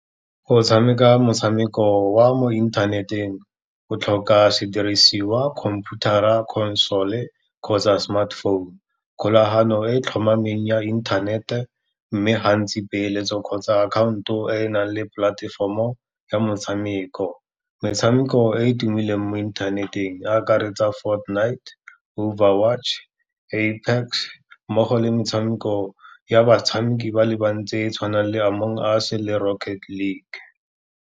Go tshameka motshameko wa mo inthaneteng, go tlhoka sedirisiwa computer-ra, console-e kgotsa smartphone, kgolagano e tlhomameng ya inthanete mme gantsi peeletso kgotsa akhanto e enang le polatefomo ya motshameko. Metshameko e e tumileng mo inthaneteng e akaretsa Fortnight, Hover Watch, Apex mmogo le metshameko ya batshameki ba le bantsi e tshwanang le Among Us le Rocket League.